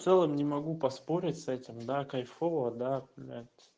в целом не могу поспорить с этим да кайфово да блять